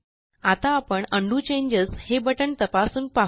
आता आपण undo changes हे बटण तपासून पाहू